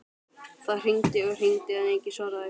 Það hringdi og hringdi en enginn svaraði.